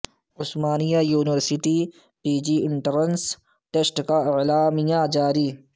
عثما نیہ university P G entrance test کا اعلامیہ جا ری